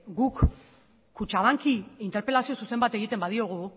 guk kutxabanki interpelazio zuzen bat egiten badiogu